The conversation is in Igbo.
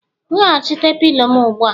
Weghachite pilo m ugbu a!